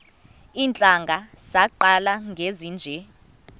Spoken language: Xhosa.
iintlanga zaqala ngezinje